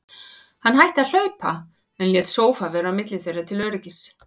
Hann hætti að hlaupa, en lét sófa vera á milli þeirra til öryggis.